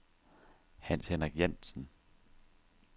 Hans-Henrik Jantzen